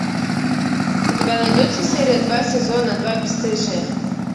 у тебя найдется серия два сезона два бесстыжие